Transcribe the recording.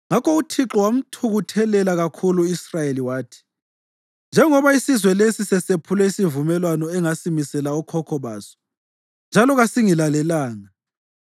Ngakho uThixo wamthukuthelela kakhulu u-Israyeli wathi, “Njengoba isizwe lesi sesephule isivumelwano engasimisela okhokho baso njalo kasingilalelanga,